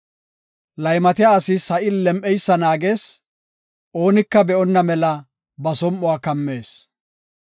Laymatiya asi sa7i lem7anaysa naagees; oonika be7onna mela ba som7uwa kammees.